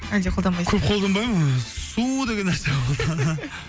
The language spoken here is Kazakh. әлде колданбайсыз ба көп қолданбаймын ыыы су деген нәрсе қолданамын